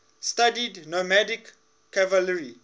studied nomadic cavalry